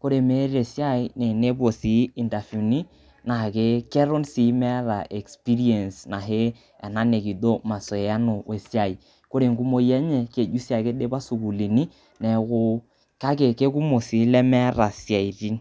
kore meeta esiai naa enepuo sii intafiuni naa keton sii meeta experience ahe ena nikijo mazoeano weisia. Kore enkumoi enye kejito ake eidpa sukuulini neeku kake eikumok sii ilemeeta siaitin.